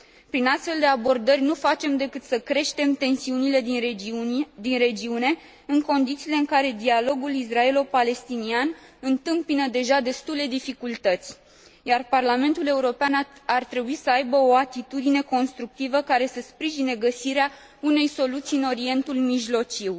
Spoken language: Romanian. Prin astfel de abordări, nu facem decât să creștem tensiunile din regiune, în condițiile în care dialogul israelo palestinian întâmpină deja destule dificultăți. Parlamentul European ar trebui să aibă o atitudine constructivă, care să sprijine găsirea unei soluții în Orientul Mijlociu.